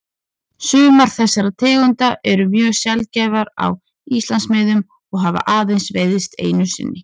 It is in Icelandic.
Sumar þessara tegunda eru mjög sjaldgæfar á Íslandsmiðum og hafa aðeins veiðst einu sinni.